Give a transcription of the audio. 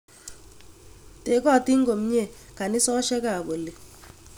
Tegotin komnye kanisosyek ap oli.